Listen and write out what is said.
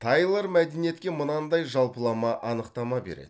тайлор мәдениетке мынандай жалпылама анықтама береді